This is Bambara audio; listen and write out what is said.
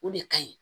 O de ka ɲi